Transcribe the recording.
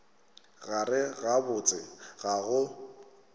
gare ga botse ga go